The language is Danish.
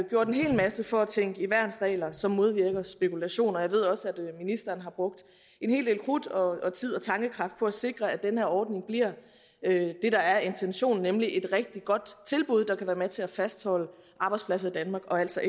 gjort en hel masse for at tænke i værnsregler som modvirker spekulation og jeg ved også at ministeren har brugt en hel del krudt og tid og tankekraft på at sikre at den her ordning bliver det er intentionen nemlig et rigtig godt tilbud der kan være med til at fastholde arbejdspladser i danmark og altså